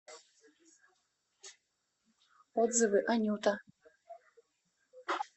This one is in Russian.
отзывы анюта